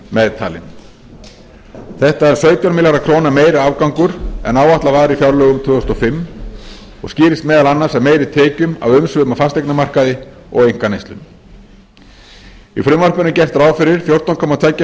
meðtalinn þetta er sautján milljarða króna meiri afgangur en áætlað var í fjárlögum tvö þúsund og fimm og skýrist meðal annars af meiri tekjum af umsvifum á fasteignamarkaði og einkaneyslu í frumvarpinu er gert ráð fyrir fjórtán komma tvo